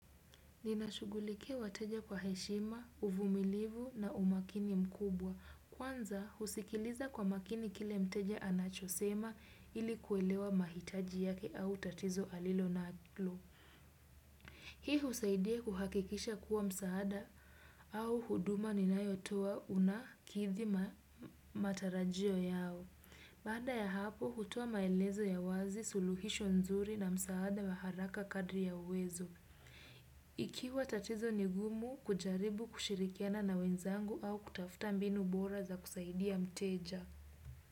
Ninashughulikia wateja kwa heshima, uvumilivu na umakini mkubwa. Kwanza, husikiliza kwa makini kile mteja anachosema ili kuelewa mahitaji yake au tatizo alilo nalo. Hii husaidia kuhakikisha kuwa msaada au huduma ninayotoa unakithi matarajio yao. Baada ya hapo, hutoa maelezo ya wazi, suluhisho nzuri na msaada wa haraka kadri ya uwezo. Ikiwa tatizo ni gumu kujaribu kushirikiana na wenzangu au kutafuta mbinu bora za kusaidia mteja.